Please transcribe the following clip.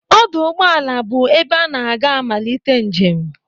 Ọdụ ụgbọala bụ ebe ana aga amalite njem.